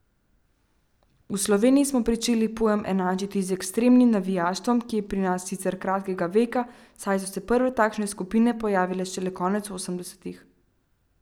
V Sloveniji smo pričeli pojem enačiti z ekstremnim navijaštvom, ki je pri nas sicer kratkega veka, saj so se prve takšne skupine pojavile šele konec osemdesetih.